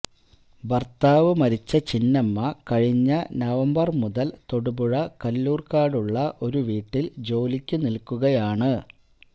ഭർത്താവ് മരിച്ച ചിന്നമ്മ കഴിഞ്ഞ നവംബർ മുതൽ തൊടുപുഴ കല്ലൂർകാടുള്ള ഒരു വീട്ടിൽ ജോലിക്കു നിൽക്കുകയാണ്